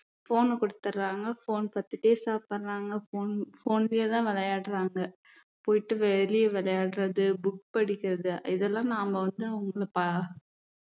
phone கொடுத்துடுறாங்க phone பாத்துட்டே சாப்பிடுறாங்க phone phone லயேதான் விளையாடுறாங்க போயிட்டு வெளிய விளையாடுறது book படிக்கிறது இதெல்லாம் நாம வந்து அவுங்களுக்கு ப~